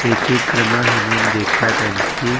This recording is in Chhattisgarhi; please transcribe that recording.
ये चित्र मा हमन देखत हन की--